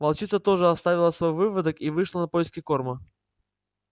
волчица тоже оставила свой выводок и вышла на поиски корма